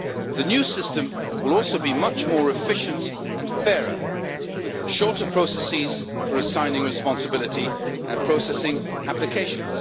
The new system will also be much more efficient and fairer with shorter processes for assigning responsibility and processing applications.